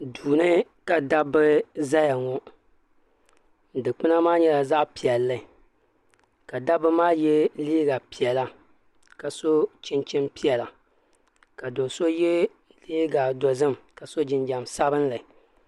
Duu ni ka dabba zaya ŋɔ dukpuna maa yɛla zaɣi piɛlli ka dabba maa yiɛ liiga piɛlla ka so chinchini piɛlla ka so so yiɛ liiga dozim ka so jinjam sabinli.